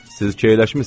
Siz keyləşmisiz.